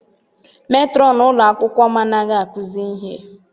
Metrọn ụlọ akwụkwọ m anaghị akuzi ihe.